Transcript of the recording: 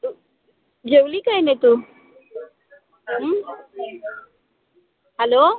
जेवली काय नाई तू? हम्म hello